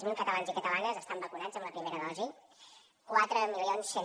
zero catalans i catalanes estan vacunats amb la primera dosi quatre mil cent